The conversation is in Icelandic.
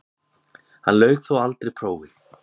Hann lauk þó aldrei prófi.